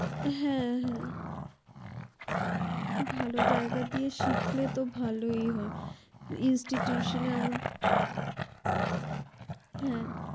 হে হে ভালো জায়গা থেকে শিখলে তো ভালোই হয় institute আমর হে